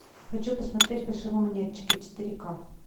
хочу посмотреть фальшивомонетчики четыре ка